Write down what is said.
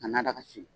Ka na daga sigi